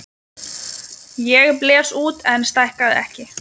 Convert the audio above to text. Ég blés út en stækkaði ekki.